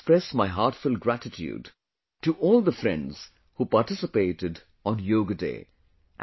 I express my heartfelt gratitude to all the friends who participated on Yoga Day